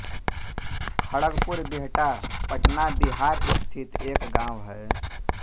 खड़गपुर बिहटा पटना बिहार स्थित एक गाँव है